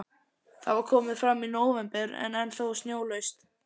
Það var komið fram í nóvember en ennþá snjólaust.